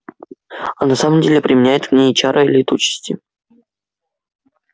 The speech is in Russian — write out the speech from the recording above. а на самом деле применяет к ней чары летучести